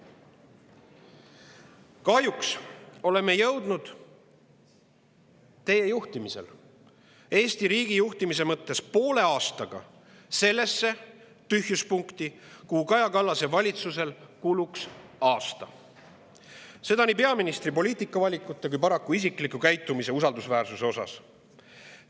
Kahjuks oleme jõudnud teie juhtimisel Eesti riigi juhtimises poole aastaga sellesse tühjuspunkti, kuhu Kaja Kallase valitsusel kulunuks aasta, seda nii peaministri poliitikavalikute kui ka paraku isikliku käitumise ja usaldusväärsuse osas.